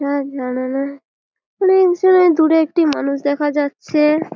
দূরে একটি মানুষ দেখা যাচ্ছে।